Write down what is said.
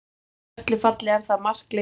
En í öllu falli er það markleysuhjal.